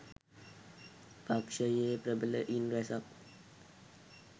පක්ෂයේ ප්‍රබලයින් රැසක්